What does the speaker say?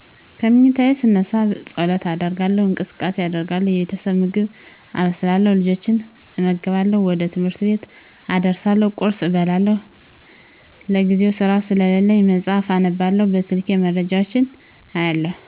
ከመኝታየ ስነሳ ፀሎት አደርጋለው እንቅስቃሴ አደርጋለው የቤተሰብ ምግብ አበስላለው፤ ልጆችን እመግባለው፤ ወደ ትምህር ቤት አደርሳለው፤ ቁርስ እበላለው፤ ለጊዜው ስራ ስለለኝ መፅሐፍ አነባለው፤ በስልኬ መረጃወች አያለው